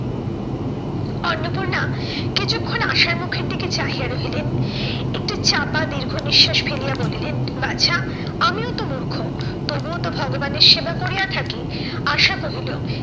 অন্নপূর্ণা কিছুক্ষণ আশার মুখের দিকে চাহিয়া রহিলেন। একটু চাপা দীর্ঘ নিঃশ্বাস ফেলিয়া বলিলেন, বাছা আমিও তো মূর্খ তবুও তো ভগবানের সেবা করিয়া থাকি। আশা কহিল,